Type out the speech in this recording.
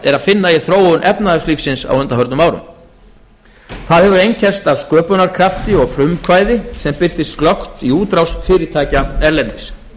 er að finna í þróun efnahagslífsins á undanförnum árum það hefur einkennst af sköpunarkrafti og frumkvæði sem birtist glöggt í útrás fyrirtækja erlendis